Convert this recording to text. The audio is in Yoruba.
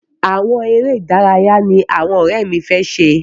Àwọn eré ìdáraya ní àwọn òré mí fẹ ṣe.